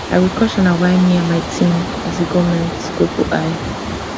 agriculture na wia me and my team as a goment go put eye